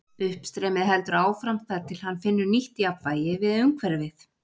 Uppstreymið heldur áfram þar til hann finnur nýtt jafnvægi við umhverfið.